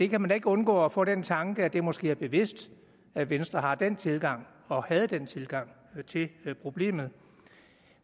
kan ikke undgå at få den tanke at det måske er bevidst at venstre har den tilgang og havde den tilgang til problemet